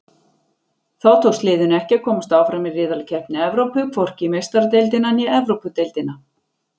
Þá tókst liðinu ekki að komast áfram í riðlakeppni Evrópu, hvorki í Meistaradeildina né Evrópudeildina.